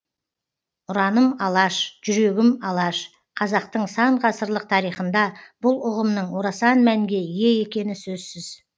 ұраным алаш жүрегім алаш қазақтың сан ғасырлық тарихында бұл ұғымның орасан мәнге ие екені сөзсіз